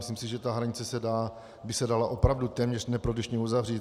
Myslím si, že ta hranice by se dala opravdu téměř neprodyšně uzavřít.